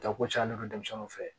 Tako caya ne kun bɛ denmisɛnninw fɛ yen